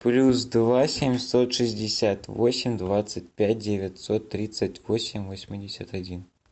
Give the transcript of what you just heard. плюс два семьсот шестьдесят восемь двадцать пять девятьсот тридцать восемь восемьдесят один